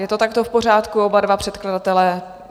Je to takto v pořádku, oba dva předkladatelé?